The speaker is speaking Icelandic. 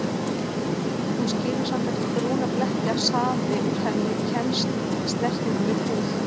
Hún skilur samt eftir brúna bletti ef safi úr henni kemst í snertingu við húð.